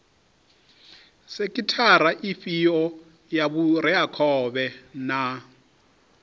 sekhithara ifhio ya vhureakhovhe na